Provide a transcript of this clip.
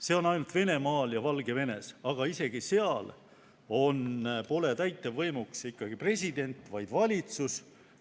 See on ainult Venemaal ja Valgevenes, aga isegi seal pole täitevvõimuks president, vaid on valitsus.